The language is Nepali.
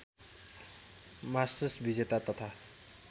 मास्टर्स विजेता तथा